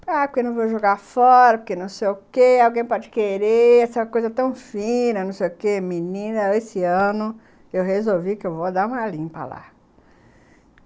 Ah, porque não vou jogar fora, porque não sei o quê, alguém pode querer, essa coisa tão fina, não sei o quê, menina, esse ano eu resolvi que eu vou dar uma limpa lá.